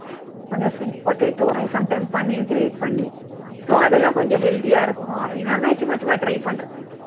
கொஞ்சம் sweet potato sometimes paneer grate பண்ணி so அதெல்லாம் கொஞ்சம் healthy ஆ இருக்கும் அப்படின்னு அது மாதிரி சும்மா சும்மா try பண்றது